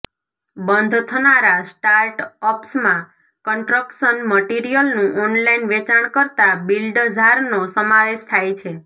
બંધ થનારા સ્ટાર્ટ અપ્સમાં કન્સ્ટ્રક્શન મટિરિયલનું ઓનલાઈન વેચાણ કરતા બિલ્ડઝારનો સમાવેશ થાય છે